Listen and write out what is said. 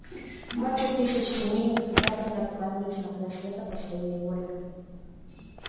двадцать тысяч семей никогда бы не отправились на край света по своей воле